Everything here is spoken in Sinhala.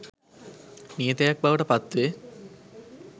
නියතයක් බවට පත් වේ